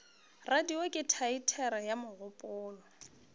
radio ke teatere ya mogopolo